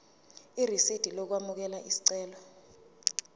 irisidi lokwamukela isicelo